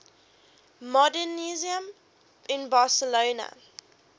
modernisme in barcelona